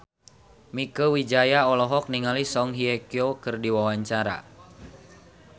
Mieke Wijaya olohok ningali Song Hye Kyo keur diwawancara